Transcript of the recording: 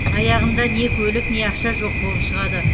аяғында не көлік не ақша жоқ болып шығады